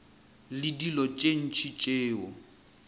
le dilo tše ntši tšeo